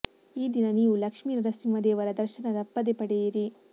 ಈ ದಿನ ನೀವು ಲಕ್ಷ್ಮಿ ನರಸಿಂಹ ದೇವರ ದರ್ಶನ ತಪ್ಪದೇ ಪಡೆಯಿರಿ